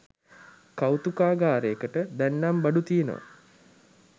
කෞතුකාගාරයකට දැන්නම් බඩු තියෙනවා